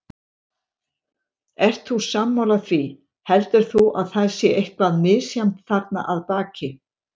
Ert þú sammála því, heldur þú að það sé eitthvað misjafnt þarna að baki?